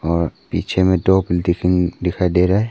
और पीछे में दिखाई दे रहा है।